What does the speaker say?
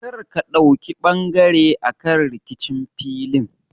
Kar ka ɗauki ɓangare akan rikicin filin!